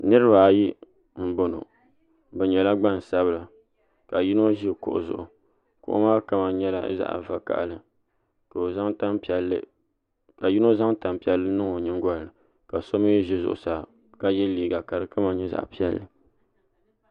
Niraba ayi n boŋo bi nyɛla gbansabila ka yino ʒi kuɣu zuɣu kuɣu maa kama nyɛla zaɣ vakaɣali ka yino zaŋ tanpiɛlli n niŋ o nyingolini ka so mii ʒɛ zuɣusaa ka yɛ liiga ka di kama nyɛ zaɣ piɛlli